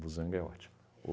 Busanga é ótimo.